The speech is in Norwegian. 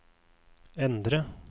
endre